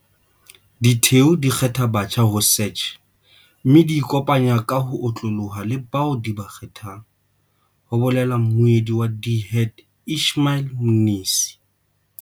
Ditheo di kgetha batjha ho CACH mme di ikopanye ka ho otloloha le bao di ba kgethang, ho bolela mmuedi wa DHET Ishmael Mnisi.